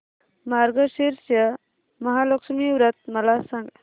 मार्गशीर्ष महालक्ष्मी व्रत मला सांग